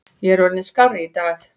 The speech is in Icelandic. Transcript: Ég er orðinn skárri í dag.